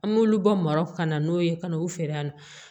An b'olu bɔ mara ka na n'o ye ka n'u feere yan nɔ